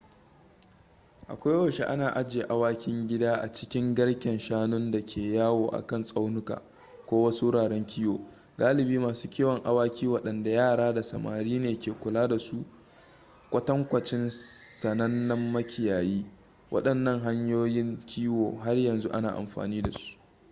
a koyaushe ana ajiye awakin gida a cikin garken shanun da ke yawo a kan tsaunuka ko wasu wuraren kiwo galibi masu kiwon awaki waɗanda yara da samari ne ke kula da su kwatankwacin sanannen makiyayi wadannan hanyoyin kiwo har yanzu ana amfani dasu